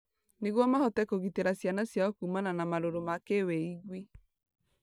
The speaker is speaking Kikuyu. Nĩguo mahote kũgitĩra ciana ciao kũmana na marũrũ ma kĩwĩigwi.